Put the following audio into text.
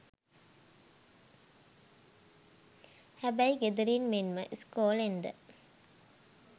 හැබැයි ගෙදරින් මෙන්ම ඉස්කෝලෙන්ද